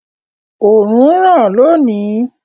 Òòrùn ń ràn lónìí.